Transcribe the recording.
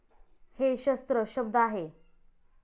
हे शस्त्र शब्द आहे.